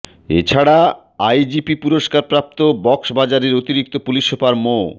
এ ছাড়া আইজিপি পুরস্কারপ্রাপ্ত কক্সবাজারের অতিরিক্ত পুলিশ সুপার মো